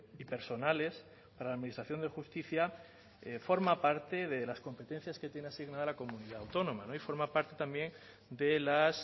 y personales para la administración de justicia forma parte de las competencias que tiene asignada la comunidad autónoma y forma parte también de las